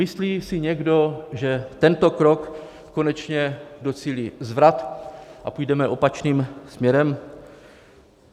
Myslí si někdo, že tento krok konečně docílí zvrat a půjdeme opačným směrem?